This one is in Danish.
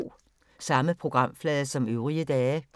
Samme programflade som øvrige dage